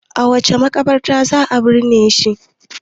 a wace makabarta za a binne shi